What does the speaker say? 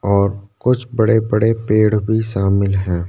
और कुछ बड़े बड़े पेड़ भी शामिल है।